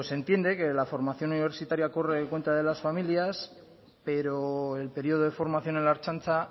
se entiende que la formación universitaria corre a cuenta de las familias pero el periodo de formación en la ertzaintza